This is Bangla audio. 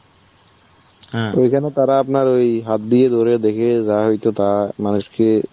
ওইখানে তারা আপনার ওই হাত দিয়ে ধরে দেখে যা হয়তো তা মানুষকে.